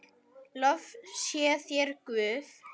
Lof sé þér, Guð.